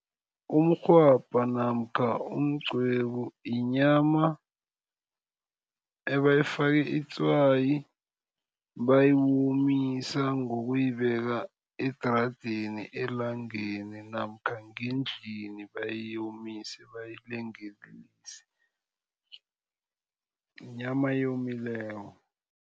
Umrhwabha namkha umqwebu yinyama ebayifake itswayi. Bayomisa ngokuyibeke edaradeni elangeni namkha ngendlini bayomise bayilengelelise yinyama eyomileko.